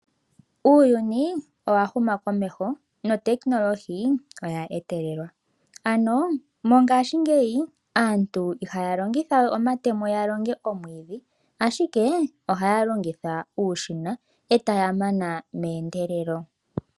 Uuyuni owahuma komeho notekinolohi oya etelelwa ano mongaashingeyi aantu ihaya longithawe omatemo yalonge omwiidhi ashikee ohaya longitha uushina etaya mana meendeeleli.